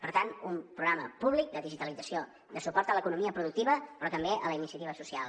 per tant un programa públic de digitalització de suport a l’economia productiva però també a la iniciativa social